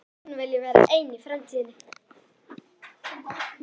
Hún vilji vera ein í framtíðinni.